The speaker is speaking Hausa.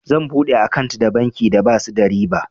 Zan buɗe akant da banki da basu sa riba.